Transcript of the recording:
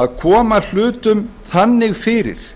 að koma hlutum þannig fyrir